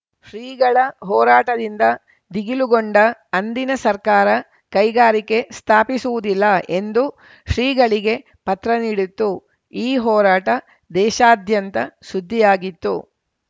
ಶ್ರೀಗಳ ಹೋರಾಟದಿಂದ ಧಿಗಿಲುಗೊಂಡ ಅಂದಿನ ಸರ್ಕಾರ ಕೈಗಾರಿಕೆ ಸ್ಥಾಪಿಸುವುದಿಲ್ಲ ಎಂದು ಶ್ರೀಗಳಿಗೆ ಪತ್ರ ನೀಡಿತ್ತು ಈ ಹೋರಾಟ ದೇಶಾದ್ಯಂತ ಸುದ್ದಿಯಾಗಿತ್ತು